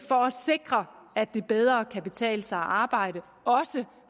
sikre at det bedre kan betale sig at arbejde også